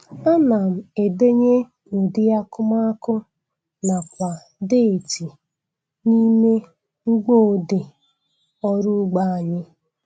Ana m edenye udi akumakụ nakwa deeti n' ime mgboodee ọrụ ugbo anyị